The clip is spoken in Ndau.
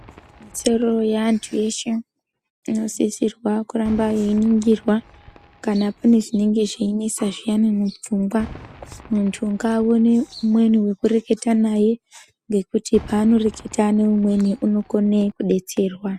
Ikodzero ye antu eshe ino sisirwa kuramba yei ningirwa kana pane chinenge chei nesa zviyani mu pfungwa muntu nga one umweni weku reketa naye ngekuti pano reketa ne umweni unokone kudetserwa.